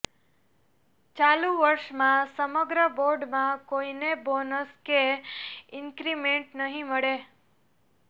ચાલુ વર્ષમાં સમગ્ર બોર્ડમાં કોઈને બોનસ કે ઇન્ક્રિમેન્ટ નહીં મળે